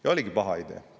Ja oligi paha idee!